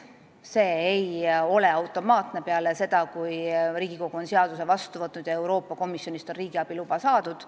See ei juhtu automaatselt peale seda, kui Riigikogu on seaduse vastu võtnud ja Euroopa Komisjonist on riigiabiluba saadud.